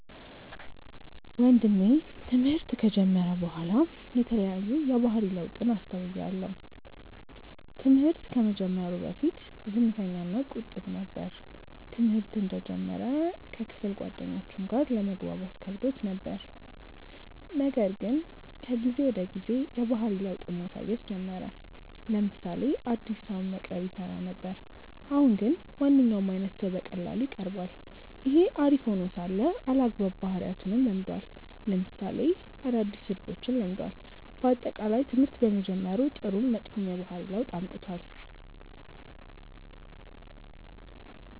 ወንድሜ ትምህርት ከጀመረ በኋላ የተለያዩ የባህሪ ለውጥን አስተውያለው። ትምህርት ከመጀመሩ በፊት ዝምተኛ እና ቁጥብ ነበር። ትምህርተ እንደጀመረ ከክፍል ጓደኞቹም ጋር ለመግባባት ከብዶት ነበር :ነገር ግን ከጊዜ ወደ ጊዜ የባህሪ ለውጥን ማሳየት ጀመረ : ለምሳሌ አዲስ ሰውን መቅረብ ይፈራ ነበር አሁን ግን ማንኛውም አይነት ሰው በቀላሉ ይቀርባል። ይህ አሪፍ ሄኖ ሳለ አልአግባብ ባህሪያትንም ለምዷል ለምሳሌ አዳዲስ ስድቦችን ለምዷል። በአጠቃላይ ትምህርት በመጀመሩ ጥሩም መጥፎም የባህሪ ለውጥ አምጥቷል።